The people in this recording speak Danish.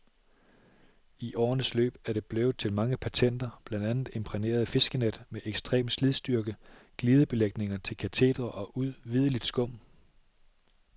I årenes løb er det blevet til mange patenter, blandt andet imprægnerede fiskenet med ekstrem slidstyrke, glidebelægninger til katetre og udvideligt skum.